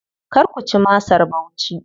Kar ku ci masar Bauchi.